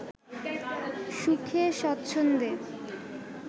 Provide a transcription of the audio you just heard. সুখে স্বচ্ছন্দে